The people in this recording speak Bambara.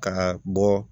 Ka bɔ